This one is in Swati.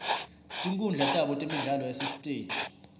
tinkhundla tabo temidlalo yasesitej